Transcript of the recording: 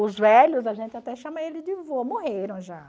Os velhos, a gente até chama eles de vô, morreram já.